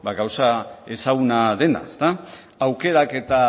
gauza ezaguna dena aukeraketa